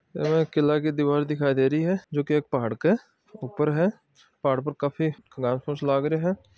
यह एक किले की दीवार दिखाय दे रही है जो की एक पहाड़ी के ऊपर है पहाड़ काफी घास फुस लाग रहो है।